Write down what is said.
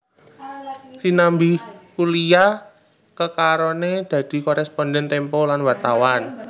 Sinambi kuliah kekarone dadi koresponden Tempo lan wartawan